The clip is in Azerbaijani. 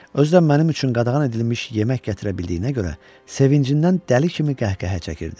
Özü də mənim üçün qadağan edilmiş yemək gətirə bildiyinə görə sevincindən dəli kimi qəhqəhə çəkirdi.